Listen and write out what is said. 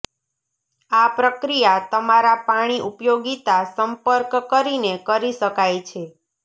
આ પ્રક્રિયા તમારા પાણી ઉપયોગિતા સંપર્ક કરીને કરી શકાય છે